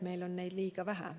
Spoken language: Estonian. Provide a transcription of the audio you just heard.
Meil on neid liiga vähe.